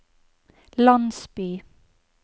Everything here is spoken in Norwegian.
landsby